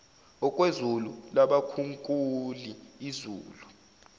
okwezulu labakhunkuli izulu